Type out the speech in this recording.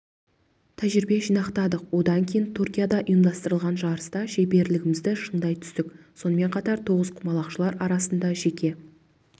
тәжірибе жинақтадық одан кейін түркияда ұйымдастырылған жарыста шеберлігімізді шыңдай түстік сонымен қатар тоғызқұмалақшылар арасында жеке